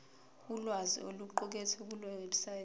ulwazi oluqukethwe kulewebsite